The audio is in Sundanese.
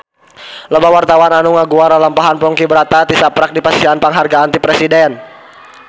Loba wartawan anu ngaguar lalampahan Ponky Brata tisaprak dipasihan panghargaan ti Presiden